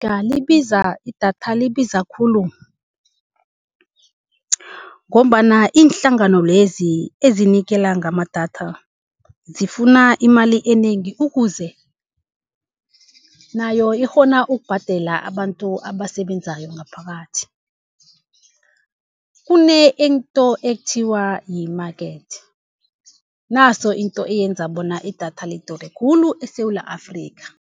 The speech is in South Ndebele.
libiza idatha libiza khulu, ngombana iinhlangano lezi ezinikela ngamadatha zifuna imali enengi ukuze nayo ikghone ukubhadela abantu abasebenzako ngaphakathi. Kunento ekuthiwa yi-market, naso into eyenza bona idatha lidure khulu eSewula Afrika.